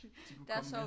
De kunne komme med